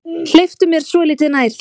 Hleyptu mér svolítið nær þér.